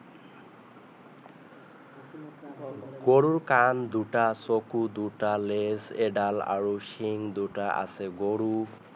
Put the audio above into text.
গৰু কাণ দুটা চকু দুটা নেজ এডাল আৰু শিং দুটা আছে গৰু